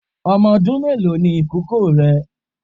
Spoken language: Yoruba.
Ọmọ ọdún mélòó ni ìkókó ẹ?